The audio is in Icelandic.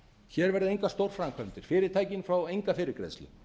hér verða engar stórframkvæmdir fyrirtækin fá enga fyrirgreiðslu